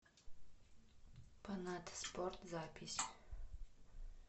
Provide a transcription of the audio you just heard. панатта спорт запись